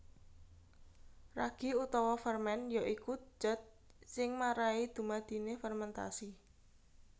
Ragi utawa fermen ya iku dat sing njalari dumadiné fermentasi